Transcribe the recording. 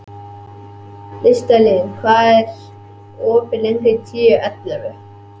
Listalín, hvað er lengi opið í Tíu ellefu?